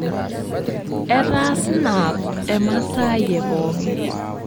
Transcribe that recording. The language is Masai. Etaa snap emasaai e pooki